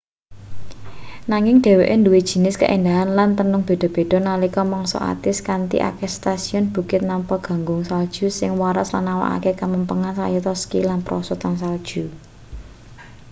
nanging dheweke nduwe jinis kaendahan lan tenung beda-beda nalika mangsa atis kanthi akeh setasiyun bukit nampa gunggung salju sing waras lan nawakake kamempengan kayata ski lan prosotan salju